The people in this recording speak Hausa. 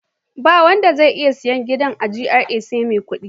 Ba wanda zai iya sayen gida a GRA sai mai kuɗi.